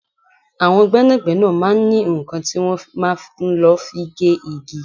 Àwọn gbẹ́nàgbẹ́nà máa ń ní nǹkan tí wọn máa ń lọ fi gé igi.